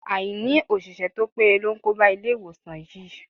Àìní òṣìṣẹ́ to péye ló ń kóba Ilé-ìwòsàn yìí.